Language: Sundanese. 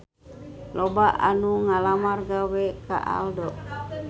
Loba anu ngalamar gawe ka Aldo